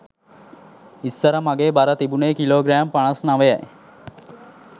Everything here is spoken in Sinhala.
ඉස්සර මගේ බර තිබුණේ කිලෝ ග්‍රෑම් පනස් නවයයි